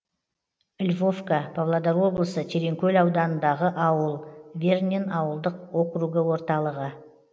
львовка павлодар облысы тереңкөл ауданындағы ауыл вернен ауылдық округі орталығы